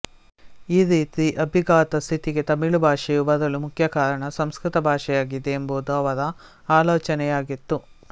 ಈ ರೀತಿ ಅಭಿಘಾತ ಸ್ಥಿತಿಗೆ ತಮಿಳು ಭಾಷೆಯು ಬರಲು ಮುಖ್ಯಕಾರಣ ಸಂಸ್ಕೃತ ಭಾಷೆಯಾಗಿದೆ ಎಂಬುದು ಅವರ ಆಲೋಚನೆಯಾಗಿತ್ತು